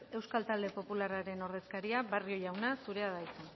euskal talde popularraren ordezkaria barrio jauna zurea da hitza